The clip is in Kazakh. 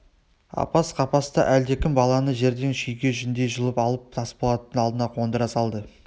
апас-қапаста әлдекім баланы жерден шүйке жүндей жұлып алып тасболаттың алдына қондыра салды